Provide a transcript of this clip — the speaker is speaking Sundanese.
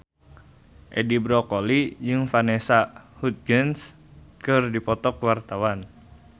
Edi Brokoli jeung Vanessa Hudgens keur dipoto ku wartawan